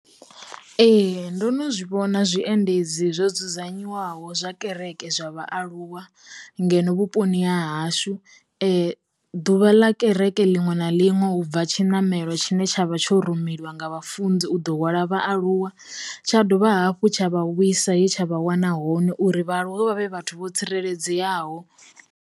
Ee, ndo no zwi vhona zwiendedzi zwo dzudzanyiwaho zwa kereke zwa vhaaluwa ngeno vhuponi ha hashu, ḓuvha ḽa kereke linwe na linwe nṋe ubva tshinamelo tshine tshavha tsho rumeliwa nga vha funzi u ḓo wana vhaaluwa tsha dovha hafhu tsha vha vhuisa he tsha vha wana hone uri vhaaluwe vha vhe vhathu vho tsireledzeaho.